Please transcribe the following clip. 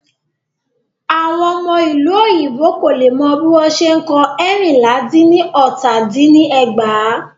Àwọn ọmọ ìlú òyìnbó kò lè mọ bí wọ́n ṣe n kọ ẹ́rìnlá dín ní ọta dín ní ẹgbàá.